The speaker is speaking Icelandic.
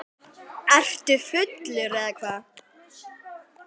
Ertu fullur eða hvað?